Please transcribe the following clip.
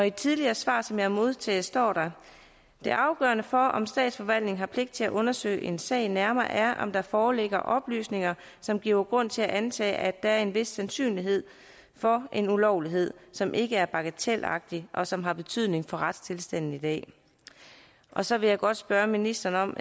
et tidligere svar som jeg har modtaget står der det afgørende for om statsforvaltningen har pligt til at undersøge en sag nærmere er om der foreligger oplysninger som giver grund til at antage at der er en vis sandsynlighed for en ulovlighed som ikke er bagatelagtig og som har betydning for retstilstanden i dag så vil jeg godt spørge ministeren om